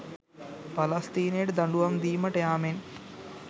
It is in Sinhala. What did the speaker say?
පලස්තීනයට දඬුවම් දිමට යාමෙන්